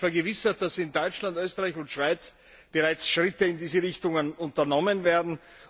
Ich habe mich vergewissert, dass in Deutschland, Österreich und der Schweiz bereits Schritte in diese Richtungen unternommen werden.